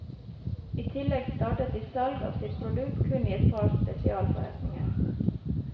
I tillegg startet de salg av sitt produkt kun i et par spesialforretninger.